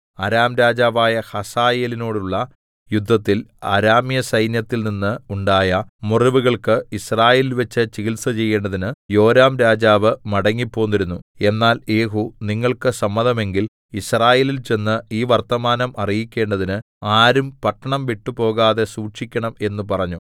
അരാം രാജാവായ ഹസായേലിനോടുള്ള യുദ്ധത്തിൽ അരാമ്യസൈന്യത്തിൽ നിന്ന് ഉണ്ടാ‍യ മുറിവുകൾക്ക് യിസ്രയേലിൽവെച്ച് ചികിത്സചെയ്യേണ്ടതിന് യോരാംരാജാവ് മടങ്ങിപ്പോന്നിരുന്നു എന്നാൽ യേഹൂ നിങ്ങൾക്ക് സമ്മതമെങ്കിൽ യിസ്രയേലിൽ ചെന്ന് ഈ വർത്തമാനം അറിയിക്കേണ്ടതിന് ആരും പട്ടണം വിട്ടുപോകാതെ സൂക്ഷിക്കണം എന്ന് പറഞ്ഞു